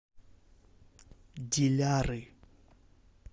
диляры